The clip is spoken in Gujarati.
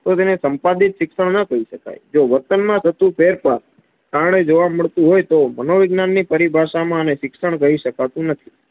તો તેને સંપાદિત શિક્ષણ ન કહી શકાય. જો વર્તન માં થતું ફેરફાર કારણે જોવા મડતું હોય તો તેને મનોવૈજ્ઞાનની પરિભાષામાં આને શિક્ષણ કહી શકાતું નથી.